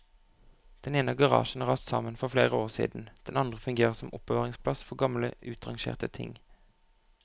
Den ene garasjen har rast sammen for flere år siden, den andre fungerer som oppbevaringsplass for gamle utrangerte ting.